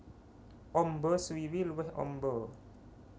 Amba swiwi luwih amba